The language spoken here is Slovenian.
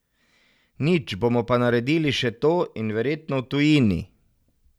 Nič, bomo naredili še to, in verjetno v tujini.